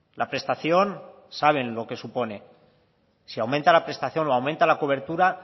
la prestación saben lo que supone si aumenta la prestación o aumenta la cobertura